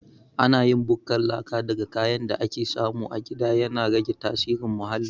Ana yin bukkar laka daga kayan da ake samu a gida, yana rage tasirin muhalli.